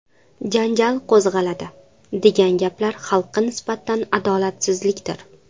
janjal qo‘zg‘aladi…”, degan gaplar xalqqa nisbatan adolatsizlikdir.